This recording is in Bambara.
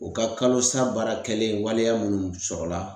O ka kalo sa baara kɛlen waleya munnu sɔrɔla